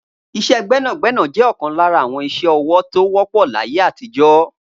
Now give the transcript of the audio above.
Iṣẹ́ gbẹ́nàgbẹ́nà jẹ́ ọ̀kan lára àwọn ìṣe ọwọ́ tó wọ́pọ̀ láyé àtijọ́